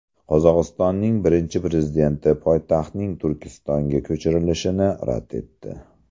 Qozog‘istonning birinchi prezidenti poytaxtning Turkistonga ko‘chirilishini rad etdi.